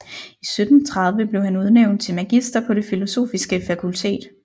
I 1730 blev han udnævnt til magister på det filosofiske fakultet